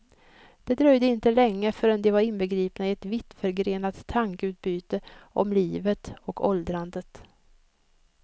Det dröjde inte länge förrän de var inbegripna i ett vittförgrenat tankeutbyte om livet och åldrandet.